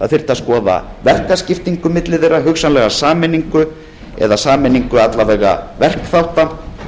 það þyrfti að skoða verkaskiptingu milli þeirra hugsanlega sameiningu eða að minnsta kosti sameiningu verkþátta